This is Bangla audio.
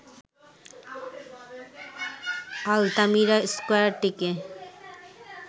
আলতামিরা স্কয়ারটিকে